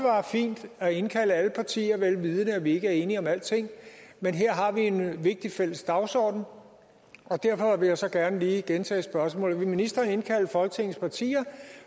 fint at indkalde alle partier vel vidende at vi ikke er enige om alting men her har vi en vigtig fælles dagsorden derfor vil jeg så gerne lige gentage spørgsmålet vil ministeren indkalde folketingets partier